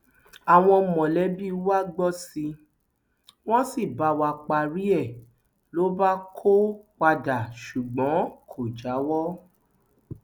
àwọn mọlẹbí wa gbọ sí i wọn sì bá wa párí ẹ ló bá kó padà ṣùgbọn kò jáwọ